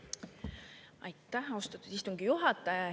Aitäh, austatud istungi juhataja!